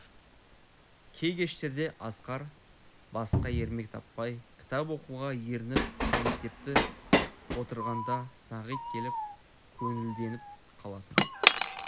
кей кештерде асқар басқа ермек таппай кітап оқуға ерініп мектепті отырғанда сағит келіп көңілденіп қалатын